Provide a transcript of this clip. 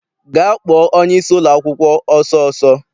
Gaa kpọọ onyeisi ụlọakwụkwọ ọsọ ọsọ!